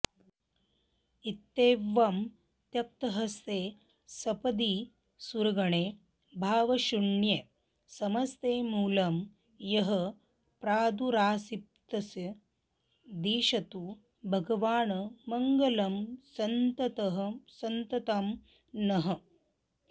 इत्येवं त्यक्तहस्ते सपदि सुरगणे भावशून्ये समस्ते मूलं यः प्रादुरासीत्स दिशतु भगवान् मङ्गलं सन्ततं नः